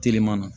Teliman na